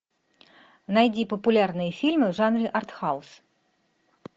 найди популярные фильмы в жанре артхаус